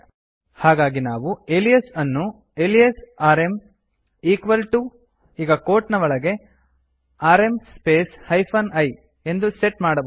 ಹಾಗಾಗಿ ನಾವು ಏಲಿಯಸ್ ಅನ್ನು ಅಲಿಯಾಸ್ ಆರ್ಎಂ equal ಟಿಒ ಈಗ ಕೊಟ್ ನ ಒಳಗೆ ಆರ್ಎಂ ಸ್ಪೇಸ್ ಹೈಫೆನ್ i ಎಂದು ಸೆಟ್ ಮಾಡಬಹುದು